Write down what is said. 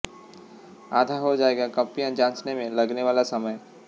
आधा हो जाएगा कॉपियां जांचने में लगने वाला समय